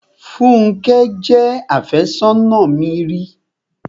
Fúnkẹ́ jẹ́ àfẹ́sónà mi ri.